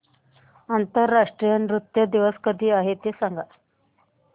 आंतरराष्ट्रीय नृत्य दिवस कधी आहे ते सांग